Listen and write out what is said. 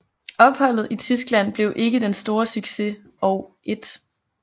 Opholdet i Tyskland blev ikke den store succes og 1